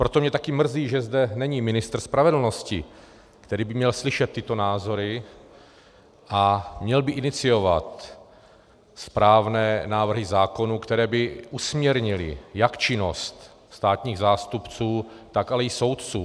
Proto mě taky mrzí, že zde není ministr spravedlnosti, který by měl slyšet tyto názory a měl by iniciovat správné návrhy zákonů, které by usměrnily jak činnost státních zástupců, tak ale i soudců.